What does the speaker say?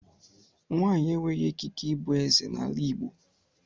Nwaanyị enweghị ikike ịbụ eze n' ala igbo